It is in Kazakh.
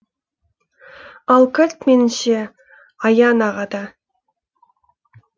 ал кілт меніңше аян ағада